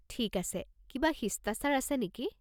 ঠিক আছে, কিবা শিষ্টাচাৰ আছে নেকি?